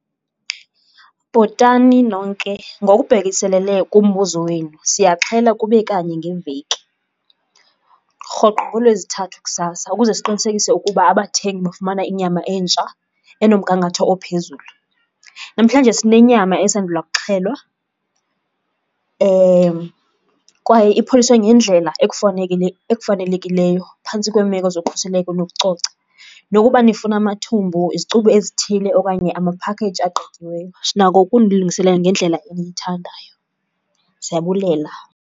Bhotani nonke. Ngokubhekiselele kumbuzo wenu, siyaxhela kube kanye ngeveki rhoqo ngooLwezithathu kusasa ukuze siqinisekise ukuba abathengi bafumana inyama entsha enomgangatho ophezulu. Namhlanje sinenyama esandula kuxhelwa kwaye ipholiswe ngendlela ekufanelekileyo phantsi kweemeko zokhuseleko nokucoca. Nokuba nifuna amathumbu, izicubu ezithile okanye amaphakheyiji agqityiweyo, sinako ukunilungisela ngendlela eniyithandayo. Siyabulela.